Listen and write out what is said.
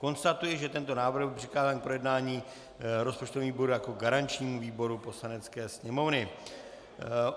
Konstatuji, že tento návrh byl přikázán k projednání rozpočtovému výboru jako garančnímu výboru Poslanecké sněmovny.